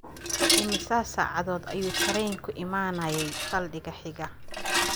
Immisa saacadood ayuu tareenku imanayay saldhigga xiga?